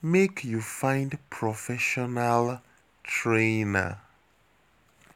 make you find professional trainer.